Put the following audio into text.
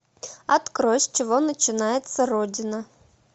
открой с чего начинается родина